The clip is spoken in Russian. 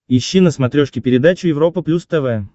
ищи на смотрешке передачу европа плюс тв